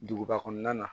Duguba kɔnɔna na